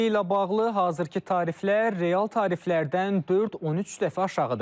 İstiliklə bağlı hazırki tariflər real tariflərdən 4-13 dəfə aşağıdır.